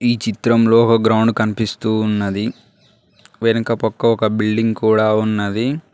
ఈ చిత్రంలో ఒక గ్రౌండ్ కనిపిస్తూ ఉన్నది. వెనక పక్క ఒక బిల్డింగ్ కూడా ఉన్నది.